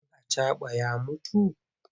Ɗan acaɓan ya mutu?